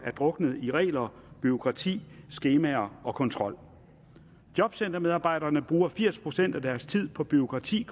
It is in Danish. er druknet i regler i bureaukrati i skemaer og i kontrol jobcentermedarbejderne bruger firs procent af deres tid på bureaukrati